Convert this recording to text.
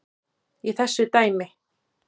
í þessu dæmi.